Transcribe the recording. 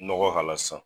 Nɔgɔ k'a la sisan